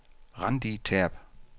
Randi Terp